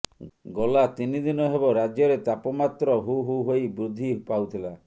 ଗଲା ତିନି ଦିନ ହେବ ରାଜ୍ୟରେ ତାପମାତ୍ର ହୁହୁ ହୋଇ ବୃଦ୍ଧି ପାଉଥିଲା